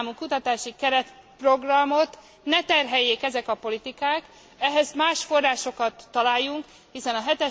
7. számú kutatási keretprogramot ne terheljék ezek a politikák, ehhez más forrásokat találjunk, hiszen a